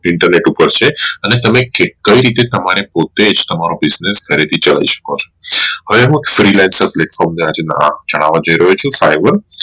Internet ઉપર છે અને તમે કઈ રીતે તમારે પોતે જ તમારો Business કેવી રીતે ચલાવી શકો છો હવે હું ચાવવા જય રહ્યો છું